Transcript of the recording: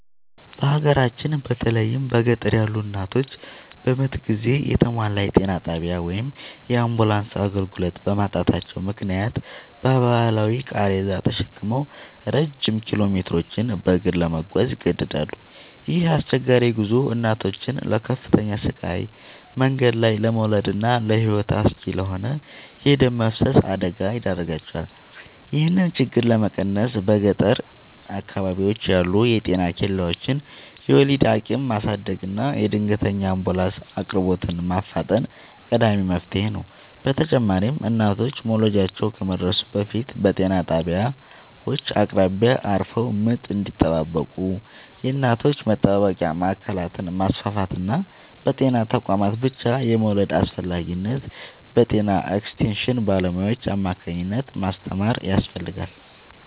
በሀገራችን በተለይም በገጠር ያሉ እናቶች በምጥ ጊዜ የተሟላ የጤና ጣቢያ ወይም የአምቡላንስ አገልግሎት በማጣታቸው ምክንያት በባህላዊ ቃሬዛ ተሸክመው ረጅም ኪሎሜትሮችን በእግር ለመጓዝ ይገደዳሉ። ይህ አስቸጋሪ ጉዞ እናቶችን ለከፍተኛ ስቃይ፣ መንገድ ላይ ለመውለድና ለሕይወት አስጊ ለሆነ የደም መፍሰስ አደጋ ይዳርጋቸዋል። ይህንን ችግር ለመቀነስ በገጠር አካባቢዎች ያሉ የጤና ኬላዎችን የወሊድ አቅም ማሳደግና የድንገተኛ አምቡላንስ አቅርቦትን ማፋጠን ቀዳሚው መፍትሔ ነው። በተጨማሪም እናቶች መውለጃቸው ከመድረሱ በፊት በጤና ጣቢያዎች አቅራቢያ አርፈው ምጥ እንዲጠባበቁ የእናቶች መጠባበቂያ ማዕከላትን ማስፋፋትና በጤና ተቋማት ብቻ የመውለድን አስፈላጊነት በጤና ኤክስቴንሽን ባለሙያዎች አማካኝነት ማስተማር ያስፈልጋል።